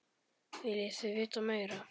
Viljið þið vita meira?